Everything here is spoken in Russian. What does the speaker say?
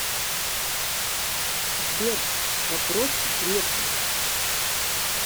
сбер вопрос грефу